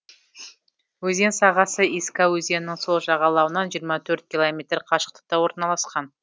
өзен сағасы иска өзенінің сол жағалауынан жиырма төрт километр қашықтықта орналасқан